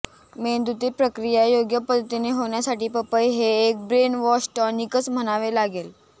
मेंदूतील प्रक्रिया योग्य पद्धतीने होण्यासाठी पपई हे एक ब्रेन वॉश टॉनिकच म्हणावे लागेल